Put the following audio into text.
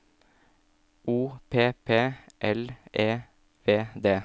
O P P L E V D